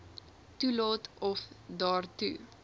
toelaat of daartoe